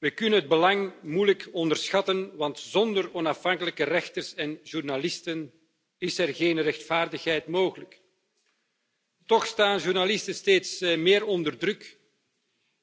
We kunnen het belang moeilijk onderschatten, want zonder onafhankelijke rechters en journalisten is er geen rechtvaardigheid mogelijk. Toch staan journalisten steeds meer onder druk